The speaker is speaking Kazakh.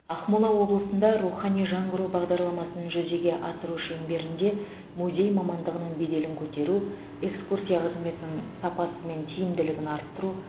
ақмола облысында рухани жаңғыру бағдарламасын жүзеге асыру шеңберінде музей мамандығының беделін көтеру экскурсия қызметінің сапасы мен тиімділігін арттыру